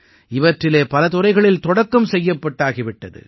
இவற்றிலே பல துறைகளில் தொடக்கம் செய்யப்பட்டாகி விட்டது